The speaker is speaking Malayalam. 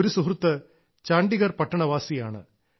ഒരു സുഹൃത്ത് ചണ്ഡീഗർ പട്ടണവാസിയാണ്